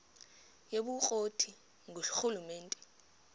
yobukro ti ngurhulumente